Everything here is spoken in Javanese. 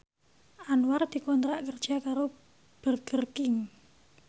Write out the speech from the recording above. Anwar dikontrak kerja karo Burger King